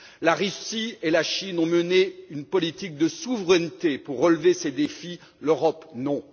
La Russie et la Chine ont mené une politique de souveraineté pour relever ces défis, l'Europe non.